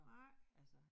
Nej